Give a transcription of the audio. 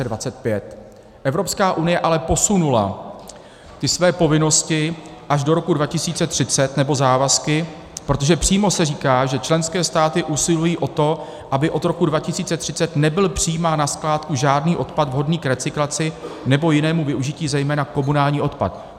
Evropská unie ale posunula ty své povinnosti až do roku 2030, nebo závazky, protože přímo se říká, že členské státy usilují o to, aby od roku 2030 nebyl přijímán na skládku žádný odpad vhodný k recyklaci nebo jinému využití, zejména komunální odpad.